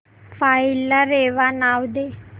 file ला रेवा नाव दे